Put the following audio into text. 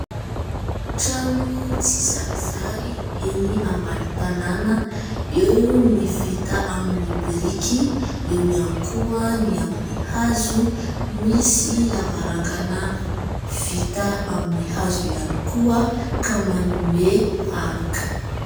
Trano tsy zarizary eny ambany tanàna : eo ny vita amin'ny biriky, eo ihany koa ny amin'ny hazo, misy lavarangana vita amin'ny hazo ihany koa ka manome aloka.